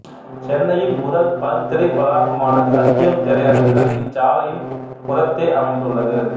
சென்னையின் முதல் பல்திரை வளாகமான சத்யம் திரையரங்குகள் இச்சாலையின் புறத்தே அமைந்துள்ளது